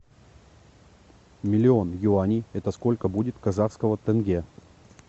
миллион юаней это сколько будет казахского тенге